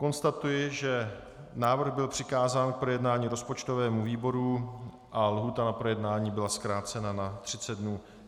Konstatuji, že návrh byl přikázán k projednání rozpočtovému výboru a lhůta na projednání byla zkrácena na 30 dnů.